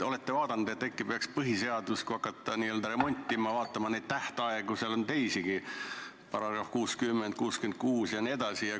Olete te vaadanud, et äkki peaks, kui hakata põhiseadust n-ö remontima, vaatama neid tähtaegu, seal on neid teisigi, § 60, § 66 jne?